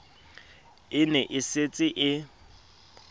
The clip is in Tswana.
e ne e setse e